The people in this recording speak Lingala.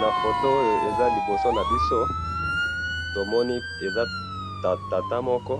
na photo oyo eza liboso nabiso, tomoni eza tata moko